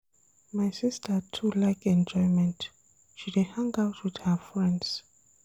My sista too like enjoyment, she dey hang out wit her friends.